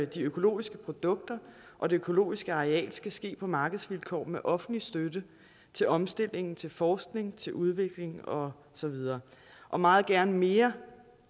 de økologiske produkter og det økologiske areal skal ske på markedsvilkår med offentlig støtte til omstilling til forskning til udvikling og så videre og meget gerne mere